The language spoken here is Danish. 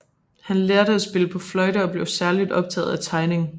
Han lærte at spille på fløjte og blev særligt optaget af tegning